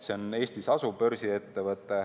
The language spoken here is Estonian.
See on Eestis asuv börsiettevõte.